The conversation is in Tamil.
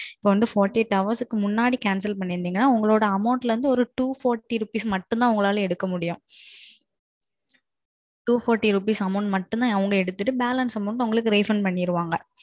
இப்போ வந்து நாற்பத்து எட்டு மணிநேரத்துக்கு முன்னாடி Cancel பண்ணீர்தாள் உங்களோட Amount ல இருந்து ஒரு எரநூத்தி நாற்பது ரூபாய் மட்டும் தான் எடுக்க முடியும். எரநூத்தி நாற்பது ரூபாய் மட்டும் எடுத்துட்டு Balance உங்களுக்கு Refund பண்ணிருவாங்க